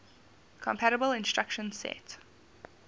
compatible instruction set